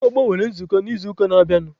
Ndị ọgbọ nwere nzukọ n'izuụka na-abịanụ.